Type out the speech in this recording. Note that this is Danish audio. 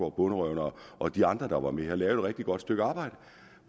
og bonderøven og de andre der var med har lavet et rigtig godt stykke arbejde